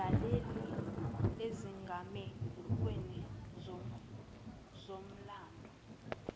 ayidlalile ezigamekweni zomlando